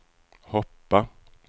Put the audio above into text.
hoppa